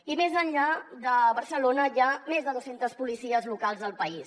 i més enllà de barcelona hi ha més de dues centes policies locals al país